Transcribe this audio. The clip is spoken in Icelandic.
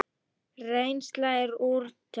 Reynsla er úrelt.